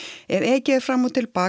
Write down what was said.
ef ekið er fram og til baka